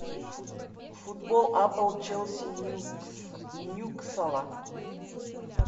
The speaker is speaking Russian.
футбол апл челси ньюкасл